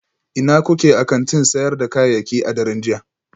Ina kuke a kantin sayar da kayayyaki a daren jiya?